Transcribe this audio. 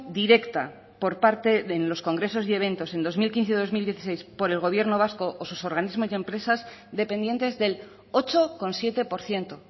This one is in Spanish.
directa por parte en los congresos y eventos en dos mil quince y dos mil dieciséis por el gobierno vasco o sus organismos y empresas dependientes del ocho coma siete por ciento